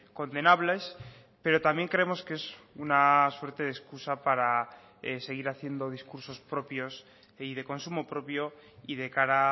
condenables pero también creemos que es una suerte de excusa para seguir haciendo discursos propios y de consumo propio y de cara